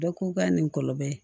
Bɛɛ ko k'a nin kɔlɔlɔ ye